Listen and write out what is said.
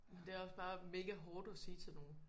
Men det er også bare mega hårdt at sige til nogen